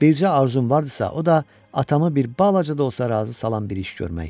Bircə arzum vardısa, o da atamı bir balaca da olsa razı salan bir iş görmək.